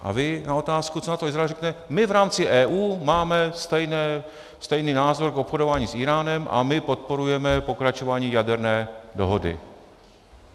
A vy na otázku, co na to Izrael, říkáte: my v rámci EU máme stejný názor na obchodování s Íránem a my podporujeme pokračování jaderné dohody.